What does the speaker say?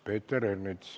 Peeter Ernits.